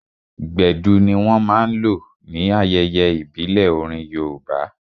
Gbedu ní wọ́n máa n lò ní ayẹyẹ ìbílẹ̀ orin yoòbá